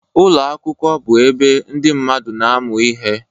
Ụlọ akwụkwọ bụ ebe ndị mmadụ na-amụ ihe